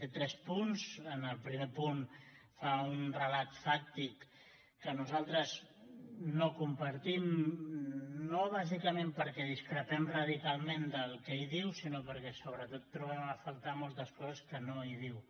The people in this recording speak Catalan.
té tres punts en el primer punt fa un relat fàctic que nosaltres no compartim no bàsicament perquè discrepem radicalment del que hi diu sinó perquè sobretot trobem a faltar moltes coses que no hi diu